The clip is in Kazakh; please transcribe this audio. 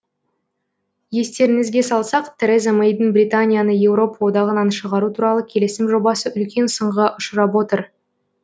естеріңізге салсақ тереза мэйдің британияны еуропа одағынан шығару туралы келісім жобасы үлкен сынға ұшырап отыр